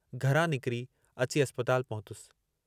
घरां निकिरी अची अस्पताल पहुतुसि।